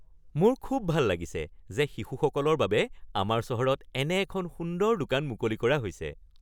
মোৰ খুব ভাল লাগিছে যে শিশুসকলৰ বাবে আমাৰ চহৰত এনে এখন সুন্দৰ দোকান মুকলি কৰা হৈছে।